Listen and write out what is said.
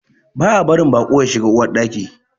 Ba a barin baƙo ya shiga Uwar Ɗaki.